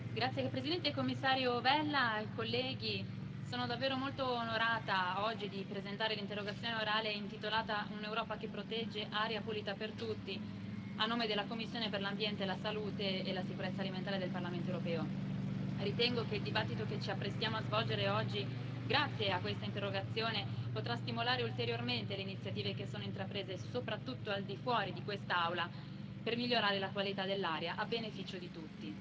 Signor Presidente, onorevoli colleghi, signor Commissario Vella, sono davvero molto onorata oggi di presentare l'interrogazione orale intitolata Un'Europa che protegge aria pulita per tutti, a nome della commissione per l'ambiente, la sanità pubblica e la sicurezza alimentare del Parlamento europeo. Ritengo che il dibattito che ci apprestiamo a svolgere oggi, grazie a questa interrogazione, potrà stimolare ulteriormente le iniziative che sono intraprese soprattutto al di fuori di quest'Aula per migliorare la qualità dell'aria a beneficio di tutti.